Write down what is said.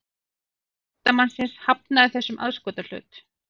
Líkami listamannsins hafnaði þessum aðskotahlut